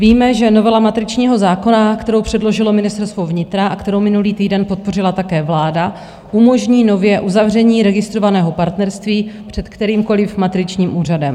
Víme, že novela matričního zákona, kterou předložilo Ministerstvo vnitra a kterou minulý týden podpořila také vláda, umožní nově uzavření registrovaného partnerství před kterýmkoliv matričním úřadem.